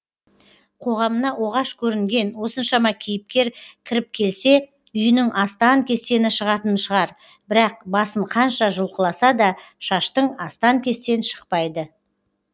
қоғамына оғаш көрінген осыншама кейіпкер кіріп келсе үйінің астан кестені шығатын шығар бірақ басын қанша жұлқыласа да шаштың астан кестен шықпайды